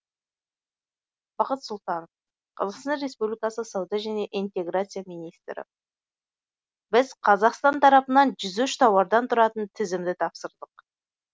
бақыт сұлтанов қазақстан республикасы сауда және интеграция министрі біз қазақстан тарапынан жүз үш тауардан тұратын тізімді тапсырдық